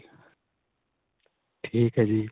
ਠੀਕ ਏ ਜੀ.